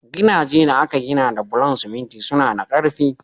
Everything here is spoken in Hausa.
Gidajen da aka gina da bulan siminti suna da karfi.